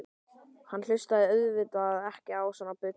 Hann hlustaði auðvitað ekki á svona bull.